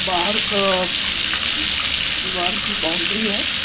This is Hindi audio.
बाहर बअअ दीवार की बाउंड्री है।